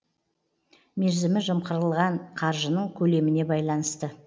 мерзімі жымқырылған қаржының көлеміне байланысты